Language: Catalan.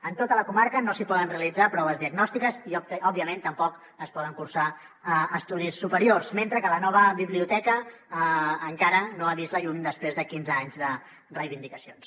en tota la comarca no s’hi poden realitzar proves diagnòstiques i òbviament tampoc s’hi poden cursar estudis superiors mentre que la nova biblioteca encara no ha vist la llum després de quinze anys de reivindicacions